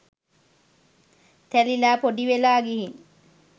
තැලිලා පොඩිවෙලා ගිහින්.